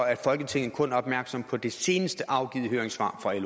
at folketinget kun er opmærksom på det senest afgivne høringssvar fra